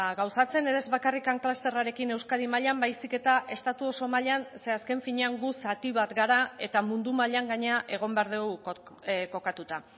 gauzatzen ere ez bakarrik klusterrarekin euskadi mailan baizik eta estatu oso mailan ze azken finean gu zati bat gara eta mundu mailan gainera egon behar dugu kokatuta